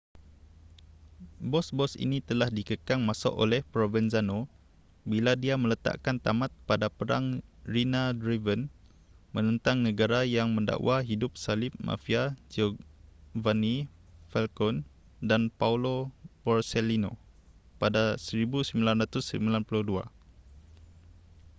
bos-bos ini telah dikekang masuk oleh provenzano bila dia meletakan tamat pada perang riina-driven menentang negara yang mendakwa hidup salib mafia giovanni falcone dan paolo borsellino pada 1992